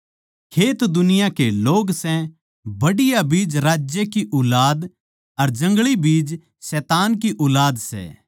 खेत दुनिया के लोग सै बढ़िया बीज राज्य की ऊलाद अर जंगली बीज शैतान की ऊलाद सै